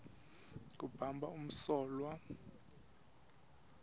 kubamba umsolwa no